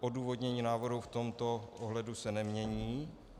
Odůvodnění návrhu v tomto ohledu se nemění.